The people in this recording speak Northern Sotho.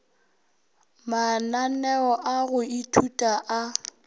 mananeo a go ithuta a